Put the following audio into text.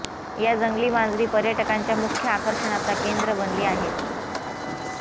या जंगली मांजरी पर्यटकांच्या मुख्य आकर्षणाचा केंद्र बनली आहेत